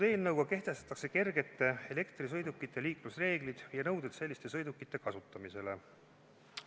Eelnõuga kehtestatakse kergete elektrisõidukite liiklemise reeglid ja nõuded selliste sõidukite kasutamisele.